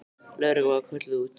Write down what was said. Lögreglan var kölluð út.